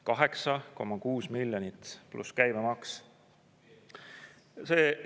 8,6 miljonit pluss käibemaks!